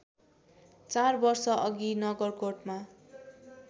चार वर्षअघि नगरकोटमा